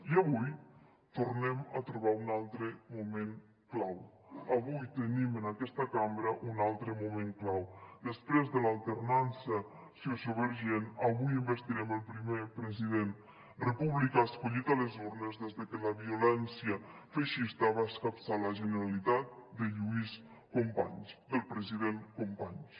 i avui tornem a trobar un altre moment clau avui tenim en aquesta cambra un altre moment clau després de l’alternança sociovergent avui investirem el primer president republicà escollit a les urnes des de que la violència feixista va escapçar la generalitat de lluís companys del president companys